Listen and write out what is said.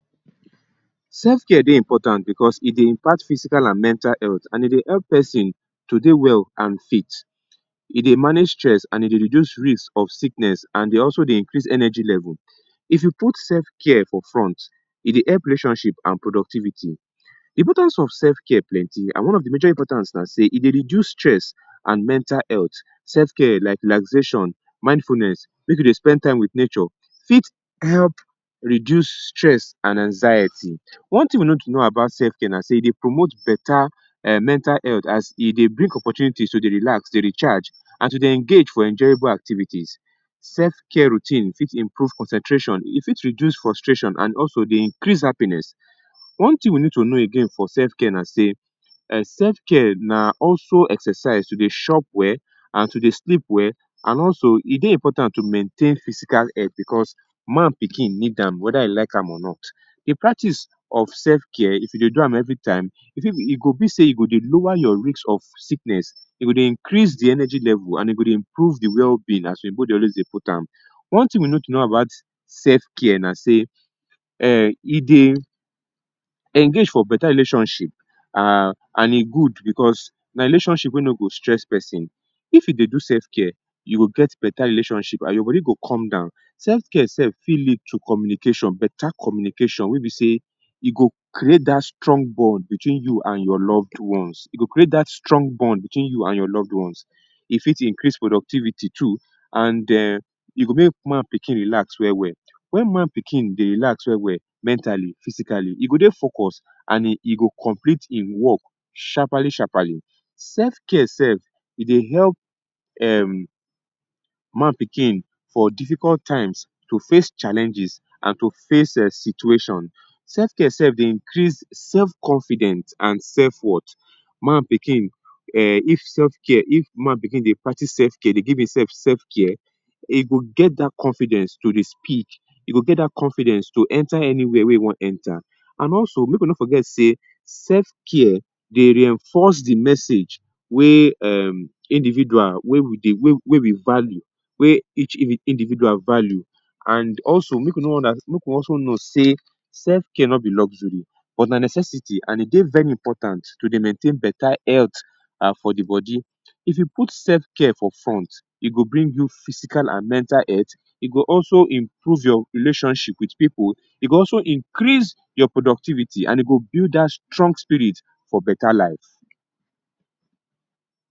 Selfcare dey important because e dey impact physical and mental health and e dey help person to dey well and fit. E dey manage stress and e dey reduce risk of sickness and e dey also increase energy level. If you put selfcare for front, e dey help relationship and productivity. Importance of selfcare plenty and one of de major important na sey e dey reduce stress and mental health. Selfcare like relaxation, mindfulness, make you dey spend time wit nature; fit help reduce stress and anxiety. One thing you need to know about selfcare na sey e dey promote better um mental health as e dey bring opportunities to dey relax, to dey recharge and to dey engage for enjoyable activities. Selfcare routine fit improve concentration, e fit reduce frustration and also dey increase happiness. One thing you need to know again for self care na say, selfcare na also exercise to dey chop well and to dey sleep well and also e dey important to maintain physical health because man pikin need am whether you like am or not. De practice of selfcare if you dey do am every time, e go be sey e go dey lower your risk of sickness e go dey increase de energy level and e go dey improve de well being as oyibo dey always dey put am. One thing we need to know about selfcare na sey um e dey engage for better relationship and um good because na relationship wey no go stress person. If you dey do selfcare, you go get better relationship and your body go come down. Selfcare sef fit lead to communication better communication wey be sey e go create dat strong bond between you and your loved ones, e go create dat strong bond between you and your loved ones. E fit increase productivity too and um e go make man pikin relax well well. Wen man pikin dey relax well well mentally, physically e go dey focus and e go complete im work sharpaly sharpaly. Selfcare sef e dey help um man pikin for difficult times to face challenges and to face situation. Selfcare sef dey increase self confidence and self worth. Man pikin um if selfcare if man pikin dey practice self care, dey give himself selfcare, e go get dat confidence to dey speak. E go get dat confidence to enter anywhere wey e wan enter and also make we no forget sey selfcare dey reinforce de message wey um individual wey we value wey each individual value and also make we make we also know say selfcare no be luxury but na necessarity and e dey very important to dey maintain better health for de body. If you put selfcare for front, e go bring you physical and mental health, e go also improve your relationship wit pipu, e go also increase your productivity and e go build dat strong spirit for better life.